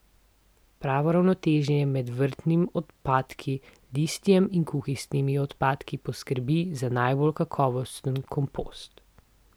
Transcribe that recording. Pravo ravnotežje med vrtnimi odpadki, listjem in kuhinjskimi odpadki poskrbi za najbolj kakovosten kompost.